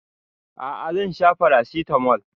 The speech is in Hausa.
A'a zan sha paracetamol